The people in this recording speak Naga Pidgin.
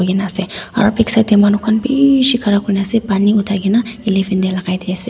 ena ase aru back side te manu khan bisi khara Kori ne ase pani uthai kina elephant te lagai de ase.